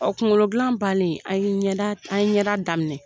O kunkolo dilan balen an ye ɲɛda an ye ɲɛda daminɛ